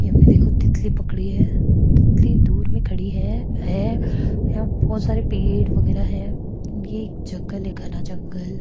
ये हमने देखो तितली पकड़ी है तितली दूर में खड़ी है हैं यहां बहुत सारे पेड़ वगैरा है ये एक जंगल है घना जंगल।